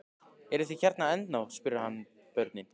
Eruð þið hérna ennþá? spurði hann börnin.